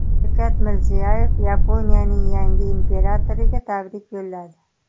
Shavkat Mirziyoyev Yaponiyaning yangi imperatoriga tabrik yo‘lladi.